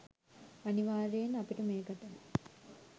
අනිවාර්යයෙන් අපිට මේකට